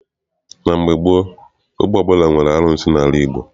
Na mgbe gboo, ogbe ọbụla nwere arụsị n'ala Igbo.